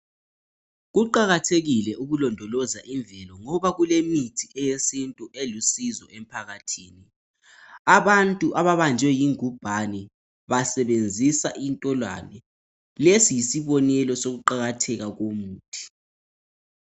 Kuqakathekile ukulondoloza imvelo ngoba kulemithi eyesintu elusizo emphakathini abantu ababanjwe yingubhane basebenzisa intolwane lesi yisibonelo sokuqakatheka kwomuthi.